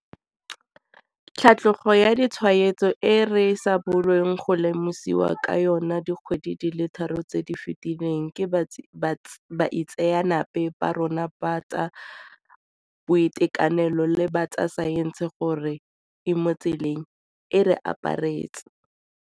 Tlhatlhogo ya ditshwaetso e re sa bolong go lemosiwa ka yona dikgwedi di le tharo tse di fetileng ke baitseanape ba rona ba tsa boitekanelo le ba tsa saense gore e mo tseleng, e re aparetse.